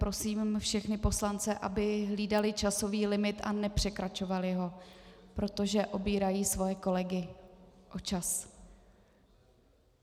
Prosím všechny poslance, aby hlídali časový limit a nepřekračovali ho, protože obírají svoje kolegy o čas.